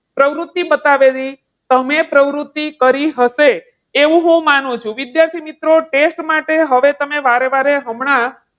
પ્રવૃત્તિ બતાવેલી. તમે પ્રવૃત્તિ કરી હશે એવું માનું છું. વિદ્યાર્થી મિત્રો, ટેસ્ટ માટે હવે તમે વારેવારે હમણાં,